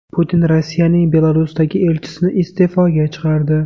Putin Rossiyaning Belarusdagi elchisini iste’foga chiqardi.